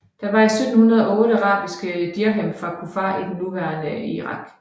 Der var 1708 arabiske dirhem fra Kufah i det nuværende Irak